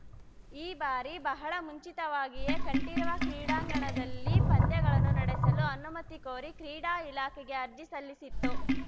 ಈ ಬಾರಿ ಬಹಳ ಮುಂಚಿತವಾಗಿಯೇ ಕಂಠೀರವ ಕ್ರೀಡಾಂಗಣದಲ್ಲಿ ಪಂದ್ಯಗಳನ್ನು ನಡೆಸಲು ಅನುಮತಿ ಕೋರಿ ಕ್ರೀಡಾ ಇಲಾಖೆಗೆ ಅರ್ಜಿ ಸಲ್ಲಿಸಿತ್ತು